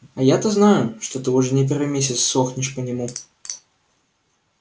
а я-то знаю что ты уже не первый месяц сохнешь по нему